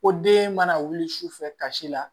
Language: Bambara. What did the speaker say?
Ko den mana wuli sufɛ kasi la